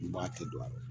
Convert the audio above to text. N b'a kɛ don a la